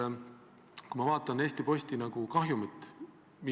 Ta on olnud väga kriitiline EAS-i suhtes ja väitnud otsesõnu, et seal lokkab korruptsioon.